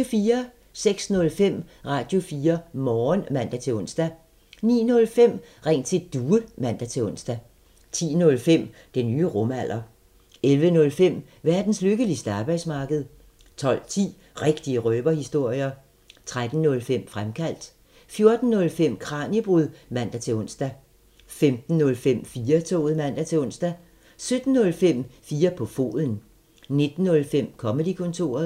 06:05: Radio4 Morgen (man-ons) 09:05: Ring til Due (man-ons) 10:05: Den nye rumalder 11:05: Verdens lykkeligste arbejdsmarked 12:10: Rigtige røverhistorier 13:05: Fremkaldt 14:05: Kraniebrud (man-ons) 15:05: 4-toget (man-ons) 17:05: 4 på foden 19:05: Comedy-kontoret